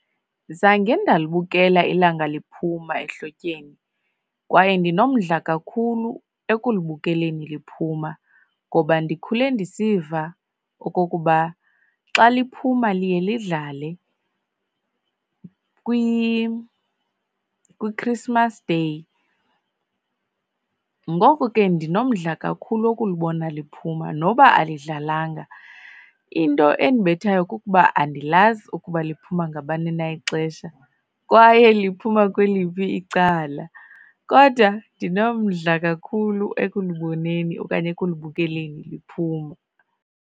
Zange ndalibukela ilanga liphuma ehlotyeni kwaye ndinomdla kakhulu ekulibukeleni liphuma ngoba ndikhule ndisiva okokuba xa liphuma liyelidlale kwiChristmas Day. Ngoko ke ndinomdla kakhulu wokulibona liphuma noba alidlalanga. Into endibethayo kukuba andilazi ukuba liphuma ngabani na ixesha, kwaye liphuma kweliphi icala kodwa ndinomdla kakhulu ekuliboneni okanye ekulibukeleni liphuma.